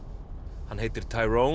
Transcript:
hann heitir